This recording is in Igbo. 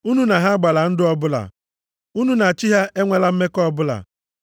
Unu na ha agbala ndụ ọbụla. Unu na chi ha enwekwala mmekọ ọbụla.